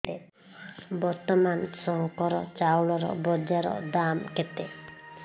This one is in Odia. ବର୍ତ୍ତମାନ ଶଙ୍କର ଚାଉଳର ବଜାର ଦାମ୍ କେତେ